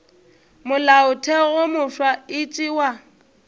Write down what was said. molaotheo wo mofsa e tšewa